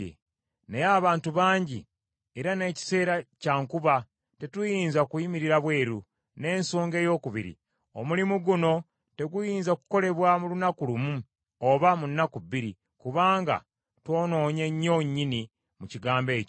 Naye abantu bangi, era n’ekiseera kya nkuba, tetuyinza kuyimirira bweru. N’ensonga eyookubiri, omulimu guno teguyinza kukolebwa mu lunaku lumu oba mu nnaku bbiri, kubanga twonoonye nnyo nnyini mu kigambo ekyo.